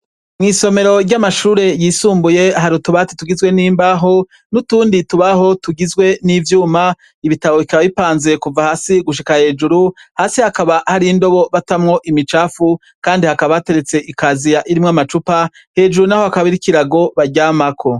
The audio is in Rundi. Mw'isomero ry'amashure yisumbuye hari utubati tugizwe n'imbaho n'utundi tubaho tugizwe n'ivyuma; ibitabo bikaba bipanze kuva hasi gushika hejuru. Hasi hakaba hari indobo batamwo imicafu, kandi hakaba hateretse ikaziya irimwo amacupa, hejuru naho hakaba hariho ikirago baryamako.